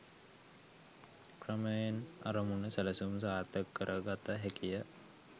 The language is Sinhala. ක්‍රමයෙන් අරමුණු සැලසුම් සාර්ථක කර ගත හැකිය.